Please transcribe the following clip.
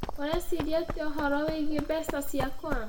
Ũreciria atĩa ũhoro wĩgiĩ mbeca ciakwa?